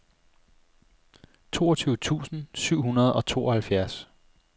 toogtyve tusind syv hundrede og tooghalvfjerds